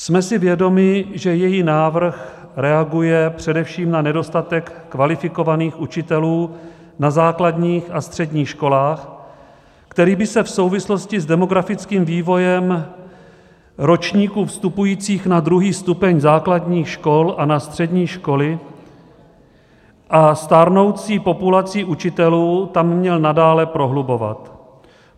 Jsme si vědomi, že její návrh reaguje především na nedostatek kvalifikovaných učitelů na základních a středních školách, který by se v souvislosti s demografickým vývojem ročníků vstupujících na druhý stupeň základních škol a na střední školy a stárnoucí populací učitelů tam měl nadále prohlubovat.